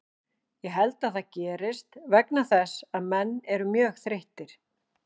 Ég held að það gerist vegna þess að menn eru mjög þreyttir.